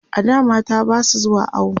a da mata Basu zuwa awo